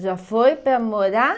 Já foi para morar?